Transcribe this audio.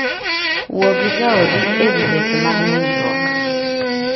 Wuo gi jaodi e wi weche mag nindruok